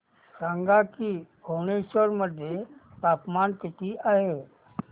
सांगा की भुवनेश्वर मध्ये तापमान किती आहे